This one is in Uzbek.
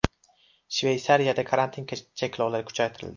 Shveysariyada karantin cheklovlari kuchaytirildi .